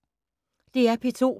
DR P2